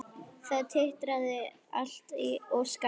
Það titraði allt og skalf.